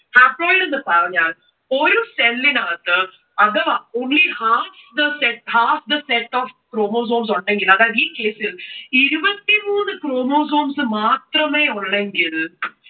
haploid എന്ന് പറഞ്ഞാൽ ഒരു cell ന് അകത്തു അഥവാ only half the set of chromosomes ഉണ്ടെങ്കിൽ അതായത് ഈ case ൽ ഇരുപത്തി മൂന്ന് chromosomes മാത്രമേ ഉള്ളെങ്കിൽ